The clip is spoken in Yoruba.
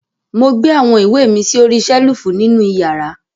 Mo gbé awọn iwe mi sí ọ̀rìṣèlúfù nínu ìyàrà.